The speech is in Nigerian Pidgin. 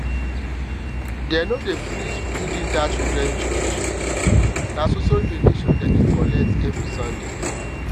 dem no um dey finish building that um children church children church um na so so donations dem dey collect every sunday